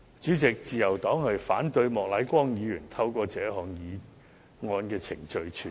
主席，自由黨反對莫乃光議員透過這項議案程序傳召律政司司長。